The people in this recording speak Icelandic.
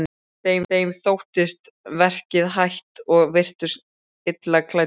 Þeim sóttist verkið hægt og virtust illa klæddir.